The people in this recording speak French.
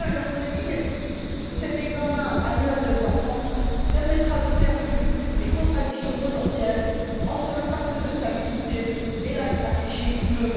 Peut on dire que cet examen annuel de croissance permettra de faire vivre les contradictions potentielles entre le pacte de stabilité et la stratégie Europe